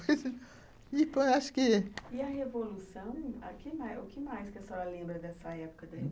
acho que. E a revolução, o que o que mais que a senhora lembra dessa época?